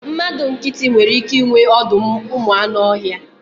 Mmadụ nkịtị nwere ike inwe ọdọụmụanụọhịa